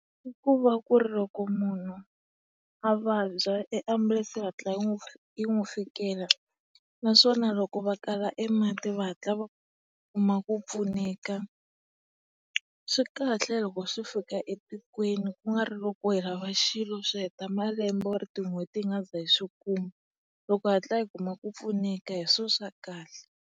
I kuva ku ri loko munhu a vabya e ambulense yi hatla yi yi n'wi fikela naswona loko va kala e mati va hatla va kuma ku pfuneka. Swikahle loko swi fika etikweni ku nga ri loko ku hela xilo swi heta malembe or tin'hweti hi nga siza hi swi kuma. Loko hi hatla hi kuma ku pfuneka hi swona swa kahle.